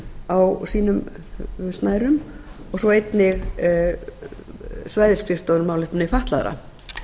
hafa á sínum snærum og svo einnig svæðisskrifstofur um málefni fatlaðra